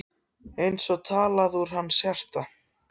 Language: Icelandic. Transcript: Eins og talað úr hans hjarta.